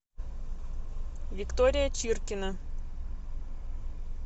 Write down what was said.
виктория чиркина